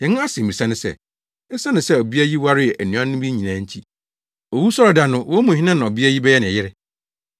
Yɛn asɛmmisa ne sɛ, esiane sɛ ɔbea yi waree anuanom yi nyinaa nti, owusɔre da no, wɔn mu hena na ɔbea yi bɛyɛ ne yere?”